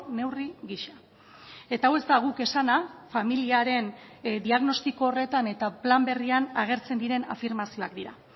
neurri giza eta hau ez da guk esana familiaren diagnostiko horretan eta plan berrian agertzen diren afirmazioak dira